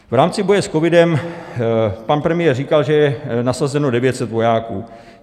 V rámci boje s covidem pan premiér říkal, že je nasazeno 900 vojáků.